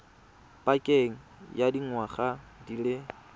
pakeng ya dingwaga di le